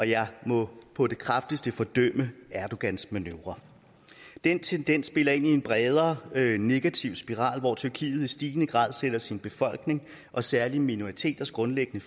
jeg må på det kraftigste fordømme erdogans manøvrer den tendens spiller ind i en bredere negativ spiral hvor tyrkiet i stigende grad sætter sin befolkning og særlig minoriteters grundlæggende